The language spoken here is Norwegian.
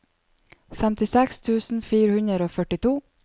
femtiseks tusen fire hundre og førtito